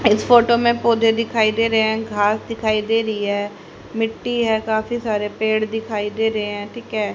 इस फोटो में पौधे दिखाई दे रहे हैं घास दिखाई दे रही है मिट्टी है काफी सारे पेड़ दिखाई दे रहे हैं ठीक है।